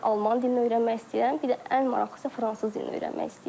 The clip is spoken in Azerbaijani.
Sonra Alman dilini öyrənmək istəyirəm, bir də ən maraqlısı fransız dilini öyrənmək istəyirəm.